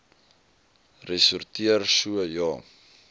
ressorteer so ja